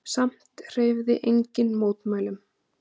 Samt hreyfði enginn mótmælum.